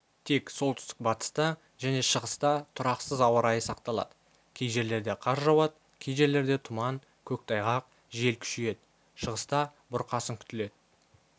тек солтүстік-батыста және шығыста тұрақсыз ауа райы сақталады кей жерлерде қар жауады кей жерлерде тұман көктайғақ жел күшейеді шығыста бұрқасын күтіледі